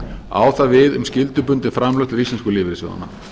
á það við um skyldubundin framlög til íslensku lífeyrissjóðanna